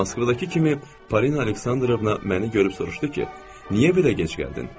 Moskvadakı kimi Polina Aleksandrovna məni görüb soruşdu ki, niyə belə gec gəldin?